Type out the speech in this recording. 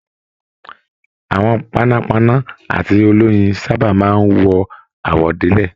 Àwọn panápaná àti oloyin sábà máa n wọ àwọ̀délẹ̀.